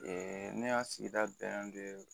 ne ka sigida bɛɛ